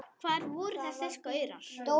Hvar voru þessir gaurar?